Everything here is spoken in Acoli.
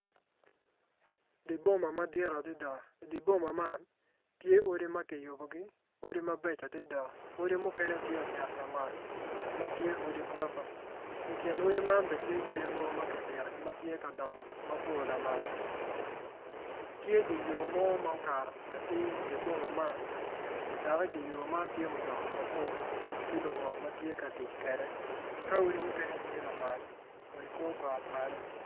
Diboma madit adada, di boma nam tye odi makiyubogi odi mabeco adada odi mukene tye ociro lamal matye odi gurofa, ikin odi man bene tye yadi mogo makipitogi matye kadongo matye lamal tye dye yor mo ma okato atir idyer boma man dok idyer yo man tye mutoka mapol ki luwot magitye katic kede ka odi mukene tye lamal wa i kor got malo.